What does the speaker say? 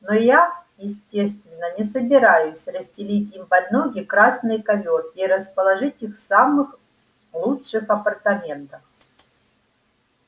но я естественно не собираюсь расстелить им под ноги красный ковёр и расположить их в самых лучших апартаментах